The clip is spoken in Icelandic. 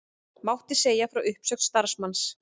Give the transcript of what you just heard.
Mátti segja frá uppsögn starfsmanns